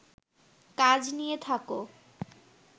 কাজ নিয়ে থাকো